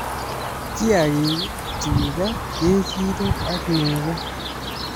Kiagik-tuga, kejirek ak nego